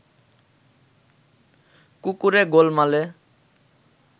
কুকুরে গোলমালে